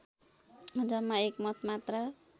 जम्मा एक मत मात्र